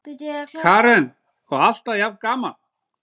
Karen: Og alltaf jafn gaman?